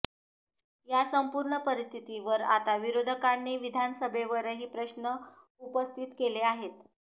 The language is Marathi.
या संपूर्ण परिस्थितीवर आता विरोधकांनी विधानसभेतही प्रश्न उपस्थित केले आहेत